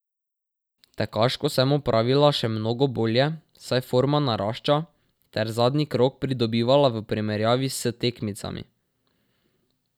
Tekaško sem opravila še mnogo bolje, saj forma narašča, ter zadnji krog pridobivala v primerjavi s tekmicami.